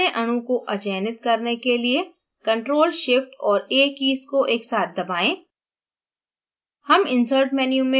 panel पर dna अणु को अचयनित करने के लिए ctrl shift और a कीज़ को एक साथ दबाएं